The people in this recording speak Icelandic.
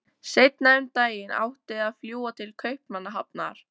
Seinna um daginn átti að fljúga til Kaupmannahafnar.